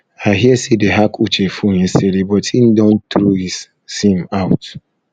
i hear say dey hack uche phone yesterday but he don throw his his sim out